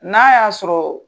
N'a y'a sɔrɔ